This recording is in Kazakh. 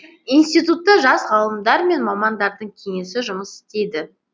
институтта жас ғалымдар мен мамандардың кеңесі жұмыс істейді